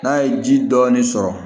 N'a ye ji dɔɔni sɔrɔ